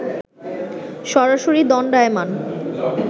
সরাসরি দণ্ডায়মান